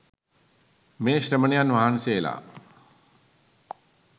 මේ ශ්‍රමණයන් වහන්සේලා